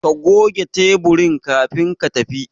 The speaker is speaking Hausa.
Ka goge taburin kafin ka tafi